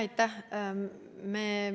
Aitäh!